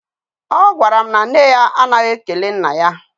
Ọ gwara m na nne ya anaghị ekele nna ya.